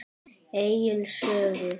Egils sögu.